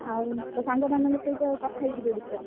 ଆଉ ତୋ ସାଙ୍ଗମାନଙ୍କ ସହ କଥା ହେଇଯିବୁ ଏ ବିଷୟରେ।